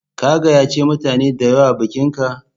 Ka gayyace mutane da yawa bikinka?